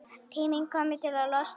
Tími kominn til að losna.